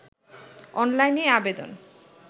অনলাইনে আবেদন